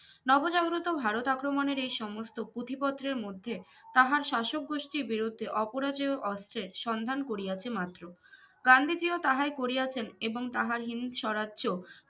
নবজাগ্রত ভারত আক্রমণের এই সমস্ত পুঁথি পত্রের মধ্যে তাহার শাসক গোষ্ঠীর বিরুদ্ধে অপরাজেয় অস্ত্রের সন্ধান করিয়াছে মাত্র গান্ধীজি ও তাহাই করিয়াছেন এবং তাহার হিন্দস্বরাজ্জ্য